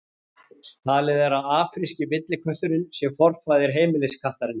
Talið er að afríski villikötturinn sé forfaðir heimiliskattarins.